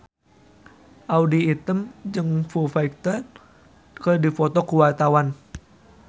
Audy Item jeung Foo Fighter keur dipoto ku wartawan